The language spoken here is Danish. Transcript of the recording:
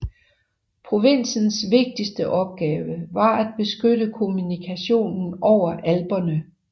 Provinsens vigtigste opgave var at beskytte kommunikationen over Alperne